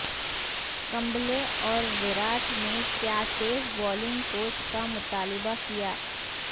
کمبلے اور وراٹ نے کیا تیز بالنگ کوچ کا مطالبہ کیا